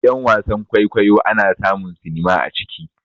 Gidan wasan-kwaikwayo ana samun sinima a ciki.